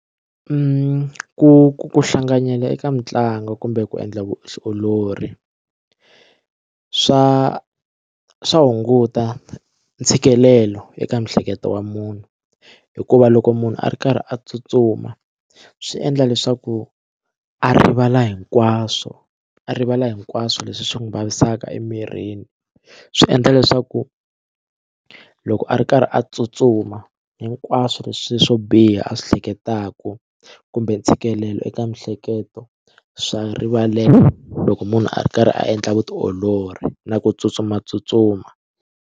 Ku hlanganyela eka mitlangu kumbe ku endla vutiolori swa swa hunguta ntshikelelo eka miehleketo wa munhu hikuva loko munhu a ri karhi a tsutsuma swi endla leswaku a rivala hinkwaswo a rivala hinkwaswo leswi swi n'wi vavisaka emirini swi endla leswaku loko a ri karhi a tsutsuma hinkwaswo leswi leswo biha a swi hleketaka kumbe ntshikelelo eka miehleketo swa rivaleka loko munhu a ri karhi a endla vutiolori na ku tsutsumatsutsuma.